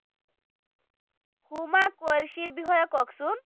হুমা কুৰেশ্বিৰ বিষয়ে কওঁকচোন